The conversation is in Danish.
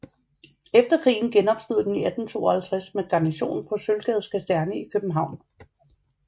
Efter krigen genopstod den i 1852 med garnison på Sølvgades Kaserne i København